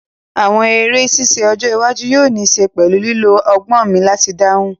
Àwọn eré ṣíṣe ọjọ́ iwájú yóò ní ṣe pẹ̀lú lílo agbọ̀n mi láti dáhùn